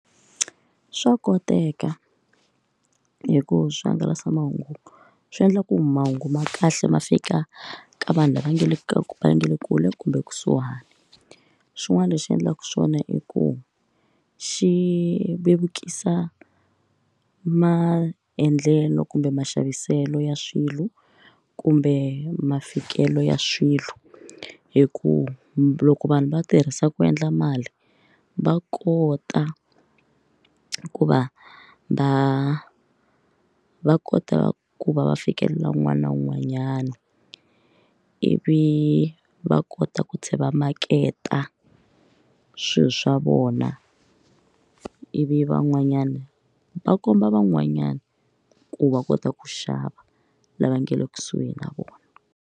Swa koteka hi ku swihangalasamahungu swi endla ku mahungu ma kahle ma fika ka vanhu lava nga le ka ma nga le kule kumbe kusuhani xin'wana lexi endlaka swona i ku xi vevukisa maendlelo kumbe maxaviselo ya swilo kumbe mafikelelo ya swilo hi ku loko vanhu va tirhisa ku endla mali va kota ku va va va kota ku va va fikelela un'wana na un'wanyana ivi va kota ku tshama maketa swilo swa vona ivi van'wanyana va komba van'wanyana ku va kota ku xava lava nga le kusuhi na vona.